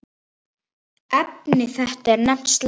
Efni þetta er nefnt slátur.